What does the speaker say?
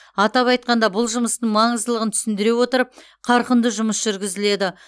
атап айтқанда бұл жұмыстың маңыздылығын түсіндіре отырып қарқынды жұмыс жүргізіледі